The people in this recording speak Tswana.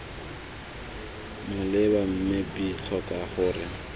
maleba mme b tlhoka gore